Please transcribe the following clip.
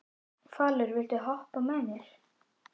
Falur, viltu hoppa með mér?